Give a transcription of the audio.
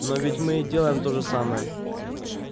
но ведь и мы делаем то же самое